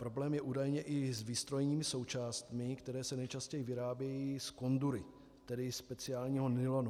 Problém je údajně i s výstrojními součástmi, které se nejčastěji vyrábějí z cordury, tedy speciálního nylonu.